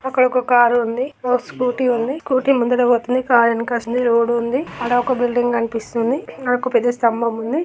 అక్కడ ఒక కారు ఉంది. ఓ స్కూటీ ఉంది. స్కూటీ ముందట పోతుంది. కారు వెనక వస్తుంది. రోడ్డు ఉంది. ఆడ ఒక బిల్డింగ్ కనిపిస్--